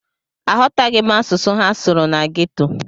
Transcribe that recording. Aghọtaghị m asụsụ ha sụrụ na geto.